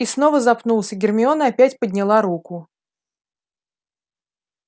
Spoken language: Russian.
и снова запнулся гермиона опять подняла руку